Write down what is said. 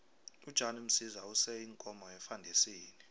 ujan msiza use iinkomo efandisini